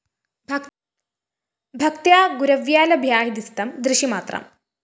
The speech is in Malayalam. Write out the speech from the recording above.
ഭക്ത്യാ ഗുരവ്യാ ലഭ്യാഹ്യദിസ്ഥം ദൃശിമാത്രം